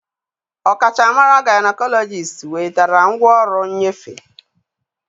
Ọkachamara gaịnekọlọjist wetara ngwaọrụ nnyefe